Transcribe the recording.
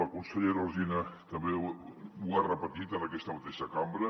la consellera alsina també ho ha repetit en aquesta mateixa cam·bra